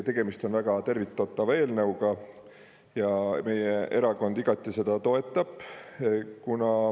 Tegemist on väga tervitatava eelnõuga ja meie erakond igati seda toetab.